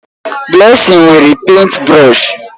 Blessing nwere pèịnt brọsh.